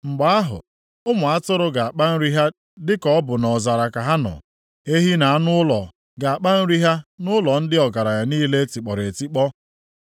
Mgbe ahụ, ụmụ atụrụ ga-akpa nri ha dị ka ọ bụ nʼọzara ka ha nọ, ehi na anụ ụlọ ga-akpa nri ha nʼụlọ ndị ọgaranya niile e tikpọrọ etikpọ.